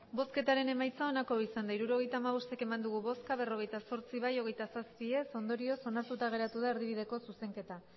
hirurogeita hamabost eman dugu bozka berrogeita zortzi bai hogeita zazpi ez ondorioz onartuta geratu da erdibideko zuzenketa